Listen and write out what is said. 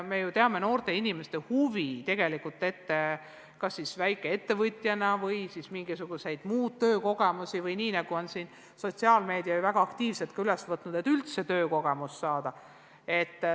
Me ju teame noorte inimeste huvi tegutseda näiteks väikeettevõtjana või saada mingisuguseid muid töökogemusi, ka sotsiaalmeedias on see väga aktiivselt teemaks võetud.